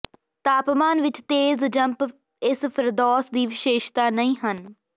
ਤਾਪਮਾਨ ਵਿਚ ਤੇਜ਼ ਜੰਪ ਇਸ ਫਿਰਦੌਸ ਦੀ ਵਿਸ਼ੇਸ਼ਤਾ ਨਹੀਂ ਹਨ